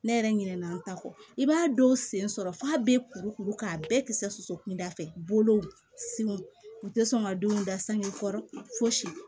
Ne yɛrɛ ɲinɛna n ta kɔ i b'a dɔw sen sɔrɔ f'a bɛ kuru kuru k'a bɛɛ kisɛso kunda fɛ bolow senw u tɛ sɔn ka denw da sangeru fosi